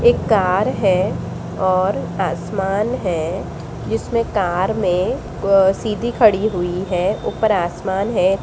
एक कार है और आसमान है जिसमें कार में अ सीधी खड़ी हुई है ऊपर आसमान है।